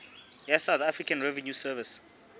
ya south african revenue service